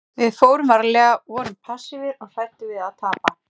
Við fórum varlega, vorum passífir og hræddir við að tapa.